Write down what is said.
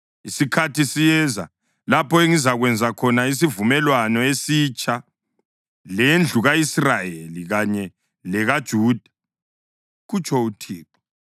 Isikhathi siyeza, lapho engizakwenza khona isivumelwano esitsha lendlu ka-Israyeli kanye lekaJuda,” kutsho uThixo.